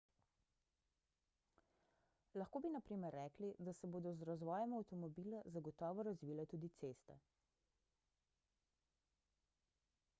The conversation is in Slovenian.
lahko bi na primer rekli da se bodo z razvojem avtomobila zagotovo razvile tudi ceste